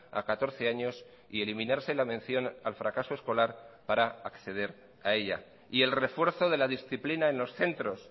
a catorce años y eliminarse la mención al fracaso escolar para acceder a ella y el refuerzo de la disciplina en los centros